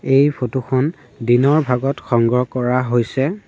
এই ফটো খন দিনৰ ভাগত সংগ্ৰহ কৰা হৈছে।